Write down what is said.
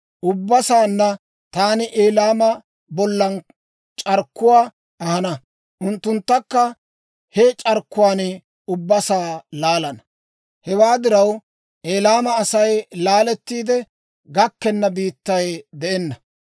Ubba saanna taani Elaama bollan c'arkkuwaa ahana; unttunttakka he c'arkkuwaan ubbasaa laalana. Hewaa diraw, Elaama Asay laalettiide gakkenna biittay de'enna.